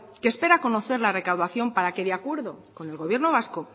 que espera conocer la recaudación para que de acuerdo con el gobierno vasco